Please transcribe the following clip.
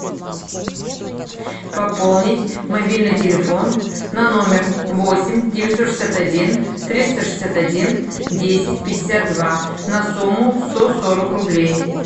пополнить мобильный телефон на номер восемь девятьсот шестьдесят один триста шестьдесят один десять пятьдесят два на сумму сто сорок рублей